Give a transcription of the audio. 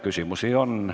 Küsimusi on.